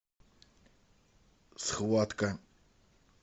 схватка